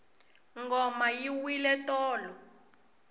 ngoma yi wile tolo